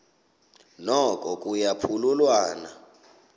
noko kuya phululwana